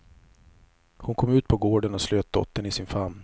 Hon kom ut på gården och slöt dottern i sin famn.